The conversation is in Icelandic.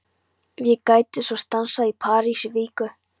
Ef ég gæti svo stansað í París í viku?